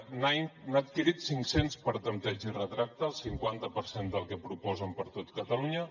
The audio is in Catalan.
n’ha adquirit cinc cents per tanteig i retracte el cinquanta per cent del que proposen per a tot catalunya